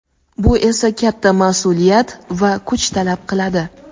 Bu esa katta mas’uliyat va kuch talab qiladi.